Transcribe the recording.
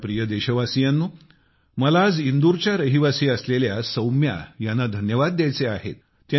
माझ्या प्रिय देशवासियांनो मला आज इंदूरच्या रहिवासी असलेल्या सौम्या ह्यांना धन्यवाद द्यायचे आहेत